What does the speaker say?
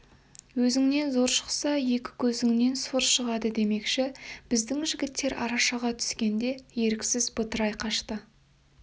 өзіңнен зор шықса екі көзіңнен сор шығады демекші біздің жігіттер арашаға түскенде еріксіз бытырай қашты